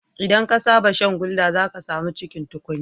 Idan ka saba shan gulder, zaka samu cikin tukunya